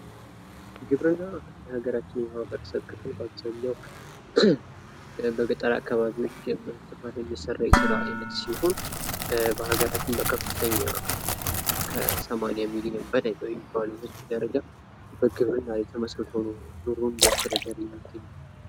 ግብርና በአገራችን የማህበረሰብ ክፍሎች በአብዛኛዉ በገጠር አካባቢዎች የሚሰራ የስራ አይነት ሲሆን በአገራችን በከፍተኛ ከ80 ሚሊየን በላይ በሚባል ደረጃ በግብርና ላይ የተመስቶ ኑሮዉን እያስተዳደረ የሚገኘዉ።